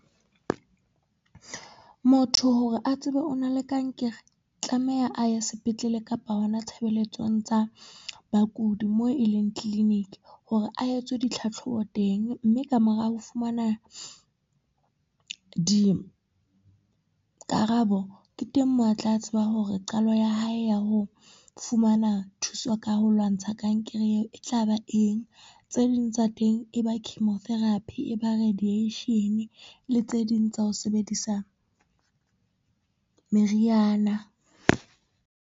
Motho hore a tsebe o na le kankere, tlameha a ye sepetlele kapa hona tshebeletsong tsa bakudi moo e leng clinic, hore a etswe ditlhatlhobo teng. Mme ka mora ho fumana, dikarabo ke teng moo a tla tseba hore qalo ya hae ya ho fumana thuso ka ho lwantsha kankere eo e tla ba eng, tse ding tsa teng e ba chemotherapy, e ba radiation le tse ding tsa ho sebedisa, meriana.